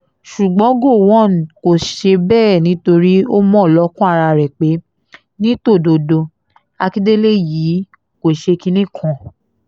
ṣùgbọ́n gọ̀wọ́n kò ṣe bẹ́ẹ̀ nítorí ó mọ̀ lọ́kàn ara rẹ̀ pé ní tòdodo àkíndélẹ̀ yìí kò ṣe kinní kan